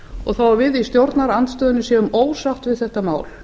og þó við í stjórnarandstöðunni séum ósátt við þetta mál